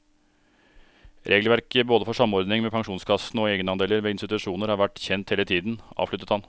Regelverket både for samordning med pensjonskassene og egenandeler ved institusjoner har vært kjent hele tiden, avsluttet han.